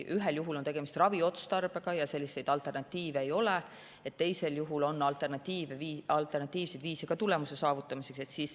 Ühel juhul on tegemist raviotstarbega ja ravimile alternatiive ei ole, teisel juhul on tulemuse saavutamiseks alternatiivseid viise ka.